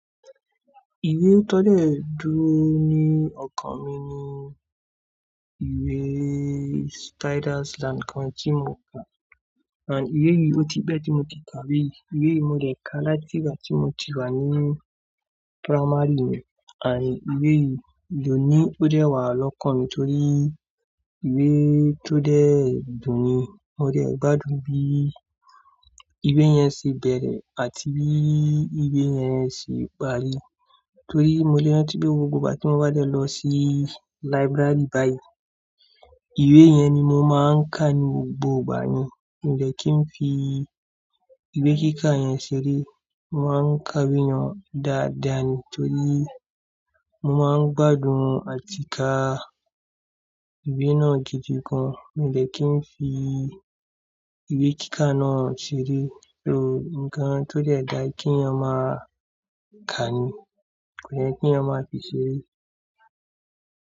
Ìwé tó lè dúró ní ọkàn mi ní ìwé Spiders ati awon kan tí mo kà and ìwé yìí ó ti pẹ̀ tí mo ti kà ìwé yìí. Ìwé yìí mo dẹ̀ ká láti ìgbà tí mo ti wà ní primary and ìwé yìí dòní ó dẹ́wà lọ́kàn mi torí ìwé tó dé dùn ni mo dé gbádùn bí ìwé yẹn ṣe bẹ̀rẹ̀ àti bí ìwé yẹn ṣe parí. Torí mo lè rántí pé gbogbo ìgbà tí mo bá dẹ lọ sí library báyìí, ìwé yẹn ni mo máa ń kà ní gbogbo ìgbà yen. Mi ò de kí n fi ìwé kíkà yẹn ṣeré, mo máa ń kà we yen dáadáa ni torí mo máa ń gbádùn àti ká ìwé náà gidi gan. Mi ò de kí n fi ìwé kíkà náà ṣeré torí nkán tó dẹ́dá kí èèyàn máa kà ni kò yẹ kí èèyàn máa fi ṣeré.